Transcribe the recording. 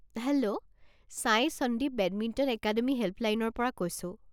Hello! Sai Sandeep badminton academy হেল্পলাইনৰ পৰা কৈছো।